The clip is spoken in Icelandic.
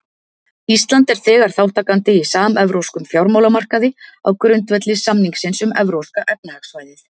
Ísland er þegar þátttakandi í samevrópskum fjármálamarkaði á grundvelli samningsins um Evrópska efnahagssvæðið.